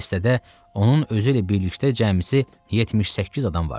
Dəstədə onun özü ilə birlikdə cəmsi 78 adam vardı.